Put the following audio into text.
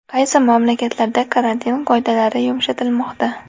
Qaysi mamlakatlarda karantin qoidalari yumshatilmoqda?